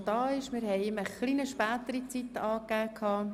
Wir haben ihm einen bisschen späteren Zeitpunkt angegeben.